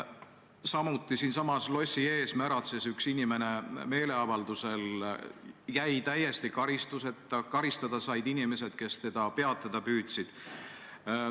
Samuti siinsamas lossi ees märatses üks inimene meeleavaldusel, jäi täiesti karistuseta, karistada said aga inimesed, kes teda peatada püüdsid.